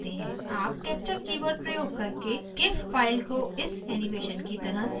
आप capture keyword प्रयोग करके gif file को इस animation की तरह सेव कर सकते हैं